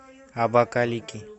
абакалики